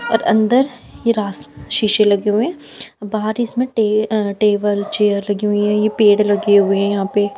और अंदर हीरा शीशे लगे हुए हैं और बाहर इसमें टे अ टेबल चेयर लगी हुई हैं ये पेड़ लगे हुए हैं यहां पे।